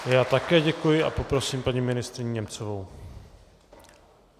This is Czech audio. Já také děkuji a prosím paní ministryni Němcovou.